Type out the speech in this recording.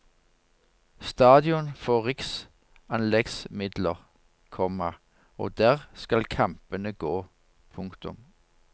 Stadion får riksanleggsmidler, komma og der skal kampene gå. punktum